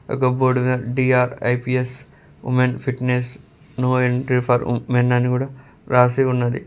ఆ యొక్క బోర్డు మీద D R I P S women fitness no entry for men అని కిడ్స్ రాసి ఉన్నది